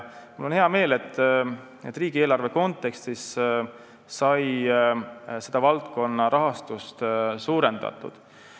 Mul on hea meel, et riigieelarve kontekstis sai selle valdkonna rahastust suurendatud.